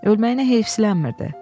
Ölməyinə heyfsilənmirdi.